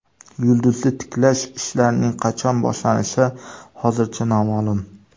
Yulduzni tiklash ishlarining qachon boshlanishi hozircha noma’lum.